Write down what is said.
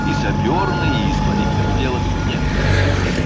и сапёрный и с политотдела не протолкнуться